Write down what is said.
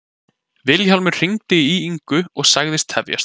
Vilhjálmur hringdi í Ingu og sagðist tefjast.